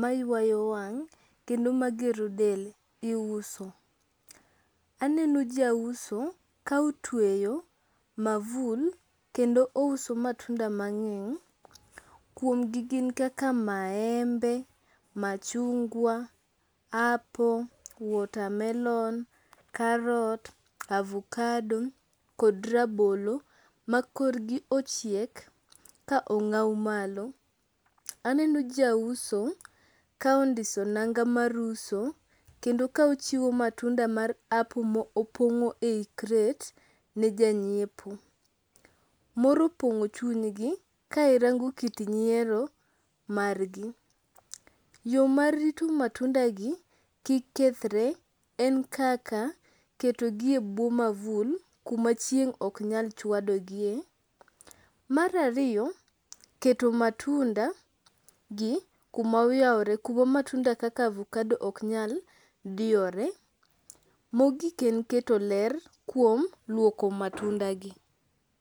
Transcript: maywayo wang' kendo magero del iuso. Aneno jauso ka otweyo mavul kendo ouso matunda mang'eng. Kuomgi gin kaka maembe, machungwa, apple, watermelon, karot, avokado kod rabolo ma korgi ochiek ka ong'aw malo. Aneno jauso ka ondiso nanga mar uso kendo ka ochiwo matunda mar apple ma opong'o e crate ne janyiepo. Mor opong'o chunygi ka irango kit nyiero margi. Yo mar rito matundagi kik kethre en kaka, ketogi e bwo mavul kuma chieng' oknyal chwadogie. Mar ariyo keto matundagi kuma oyawore kuma matunda kaka avokado oknyal diyore. Mogik en keto ler kuom luoko matundagi.